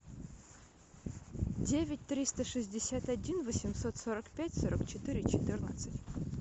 девять триста шестьдесят один восемьсот сорок пять сорок четыре четырнадцать